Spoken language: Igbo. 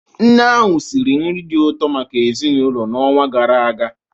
Nne ahụ siri nri dị ụtọ maka ezinụlọ n'ọnwa gara aga.